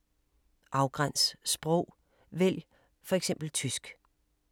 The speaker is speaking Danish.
Afgræns sprog: vælg for eksempel tysk